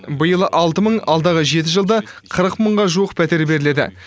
биыл алты мың алдағы жеті жылда қырық мыңға жуық пәтер беріледі